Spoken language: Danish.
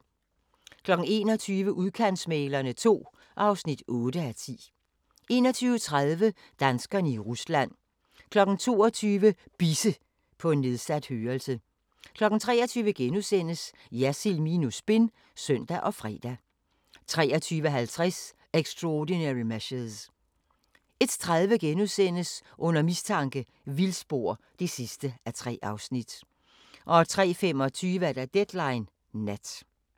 21:00: Udkantsmæglerne II (8:10) 21:30: Danskerne i Rusland 22:00: Bisse – på nedsat hørelse 23:00: Jersild minus spin *(søn og fre) 23:50: Extraordinary Measures 01:30: Under mistanke – vildspor (3:3)* 03:25: Deadline Nat